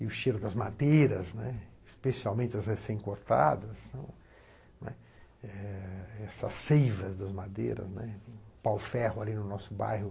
E o cheiro das madeiras, né, especialmente as recém-cortadas, não, né? essas seivas das madeiras, né, o pau-ferro ali no nosso bairro.